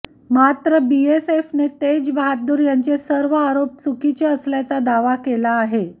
मात्र बीएसएफने तेज बहाद्दूर यांचे सर्व आरोप चुकीचे असल्याचा दावा केला आहे